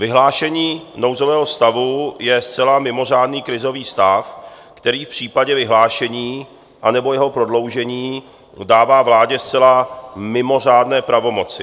Vyhlášení nouzového stavu je zcela mimořádný krizový stav, který v případě vyhlášení anebo jeho prodloužení dává vládě zcela mimořádné pravomoci.